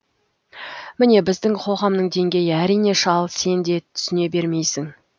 міне біздің қоғамның деңгейі әрине шал сен де түсіне бермейсің